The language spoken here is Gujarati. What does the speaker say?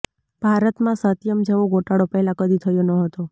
ભારતમાં સત્યમ જેવો ગોટાળો પહેલાં કદી થયો નહોતો